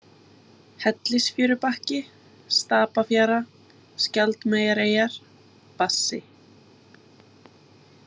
Hellisfjörubakki, Stapafjara, Skjaldmeyjareyjar, Bassi